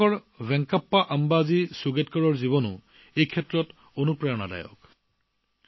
কৰ্ণাটকৰ বেনকাপ্পা আম্বাজী সুগেটকাৰে অতি প্ৰেৰণাদায়ক কামত নিজৰ জীৱন উৎসৰ্গা কৰিছে